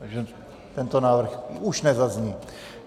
Takže tento návrh už nezazní.